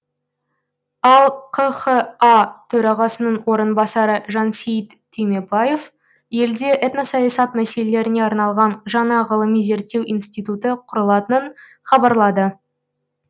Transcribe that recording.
ал қха төрағасының орынбасары жансейіт түймебаев елде этносаясат мәселелеріне арналған жаңа ғылыми зерттеу институты құрылатынын хабарлады